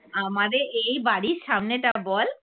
আমাদের এই বাড়ির সামনেটা বল?